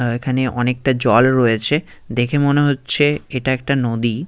আহ এখানে অনেকটা জল রয়েছে দেখে মনে হচ্ছে এটা একটা নদী।